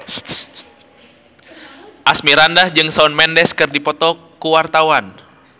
Asmirandah jeung Shawn Mendes keur dipoto ku wartawan